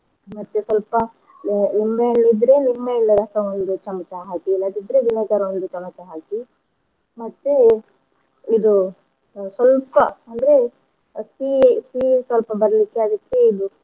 ಮತ್ತೆ ಸಲ್ಪ ಅ ನಿಂಬೆ ಹಣ್ ಇದ್ರೆ ನಿಂಬೆ ಹಣ್ಣಿನ ರಸ ಒಂದು ಚಮಚ ಹಾಕಿ ಇಲ್ಲದಿದ್ರೆ vinegar ಒಂದು ಚಮಚ ಹಾಕಿ ಮತ್ತೆ ಇದು ಸ್ವಲ್ಪ ಅಂದ್ರೆ ಸಿಹಿ ಸಿಹಿ ಸ್ವಲ್ಪ ಬರ್ಲಿಕ್ಕೆ ಅದಕ್ಕೆ ಇದು